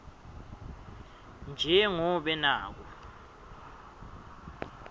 nje ngobe naku